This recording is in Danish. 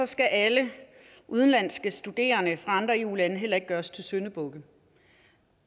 skal alle udenlandske studerende fra andre eu lande heller ikke gøres til syndebuk